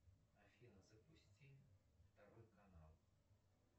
афина запусти второй канал